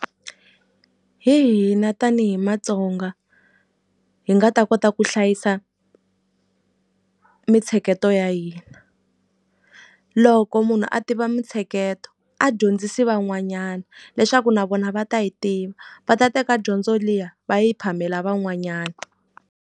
Hi hina tanihi Matsonga hi nga ta kota ku hlayisa mintsheketo ya hina loko munhu a tiva mintsheketo a dyondzisi van'wanyana leswaku na vona va ta yi tiva va ta teka dyondzo liya va yi phamela van'wanyana.